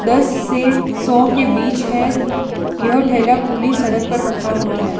दास से सओ के बीच है यह ठेला खुली सड़क पर रखा हुआ है।